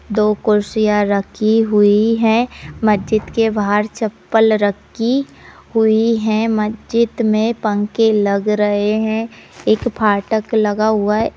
दो कुर्सियाँ रखी हुई हैं। मस्जिद के बाहर चप्पल रखी हुई हैं। मस्जिद में पंखे लग रहें हैं। एक फाटक लगा हुआ है।